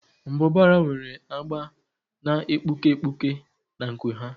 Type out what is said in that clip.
Mbụbara nwere agba na-egbuke egbuke na nku ha.